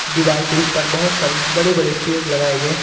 दीवार के उस पार बहुत सारे बड़े बड़े पेड़ लगाए गए है।